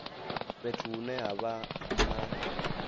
fhethu hune ha vha na